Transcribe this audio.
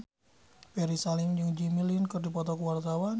Ferry Salim jeung Jimmy Lin keur dipoto ku wartawan